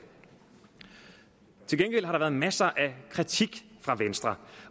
til gengæld har der været masser af kritik fra venstre